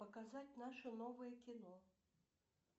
показать наше новое кино